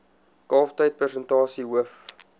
kalftyd persentasie hoof